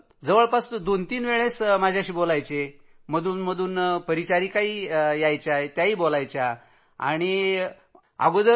दिवसात दोन तीन वेळा डॉक्टर बोलायचे परिचारिकाही बोलत असायच्या